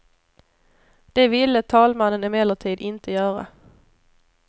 Det ville talmannen emellertid inte göra.